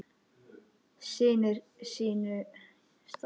Sinnir sínu starfi.